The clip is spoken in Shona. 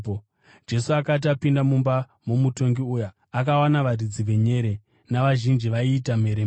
Jesu akati apinda mumba momutongi uya, akawana varidzi venyere navazhinji vaiita mheremhere